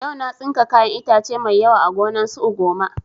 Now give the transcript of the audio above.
Yau na tsinka kayan itace mai yawa a gonan su ugoma